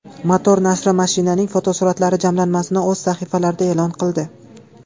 Motor nashri mashinaning fotosuratlari jamlanmasini o‘z sahifalarida e’lon qildi .